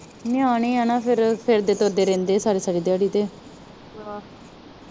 ਨਿਆਣੇ ਆ ਨਾ ਫਿਰ, ਫਿਰਦੇ-ਤੁਰਦੇ ਰਹਿੰਦੇ ਸਾਰੀ-ਸਾਰੀ ਦਿਹਾੜੀ ਤੇ